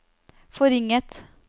forringet